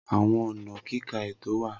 Awọn ọna kika eto wa.